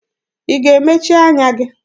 Ị ga-emechi anya gị?